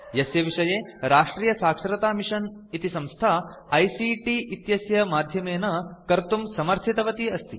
यस्य विषये राष्ट्रियसाक्षरतामिशन् इति संस्था आईसीटी इत्यस्य माध्यमेन कर्तुं समर्थितवती अस्ति